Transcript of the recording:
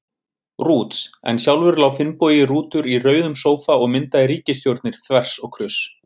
Rúts, en sjálfur lá Finnbogi Rútur í rauðum sófa og myndaði ríkisstjórnir þvers og kruss.